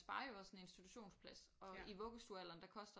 Sparer jo også en institutionsplads og i vuggestuealderen der koster